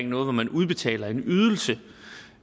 noget hvor man udbetaler en ydelse det